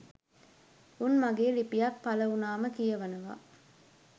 උන් මගේ ලිපියක් පළ වුණාම කියවනව